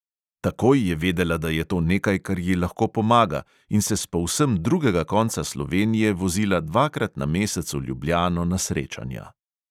Takoj je vedela, da je to nekaj, kar ji lahko pomaga, in se s povsem drugega konca slovenije vozila dvakrat na mesec v ljubljano na srečanja.